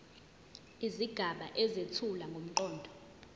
izigaba ezethula ngomqondo